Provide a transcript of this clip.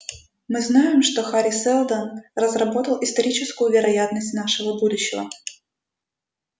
мы знаем что хари сэлдон разработал историческую вероятность нашего будущего